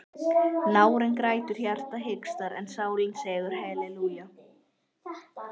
Nárinn grætur, hjartað hikstar en sálin segir halelúja.